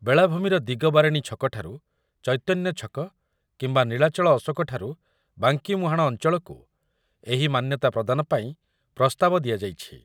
ବେଳାଭୂମିର ଦିଗବାରେଣୀ ଛକଠାରୁ ଚୈତନ୍ଯଛକ କିମ୍ବା ନୀଳାଚଳ ଅଶୋକଠାରୁ ବାଙ୍କିମୁହାଣ ଅଞ୍ଚଳକୁ ଏହି ମାନ୍ୟତା ପ୍ରଦାନ ପାଇଁ ପ୍ରସ୍ତାବ ଦିଆଯାଇଛି ।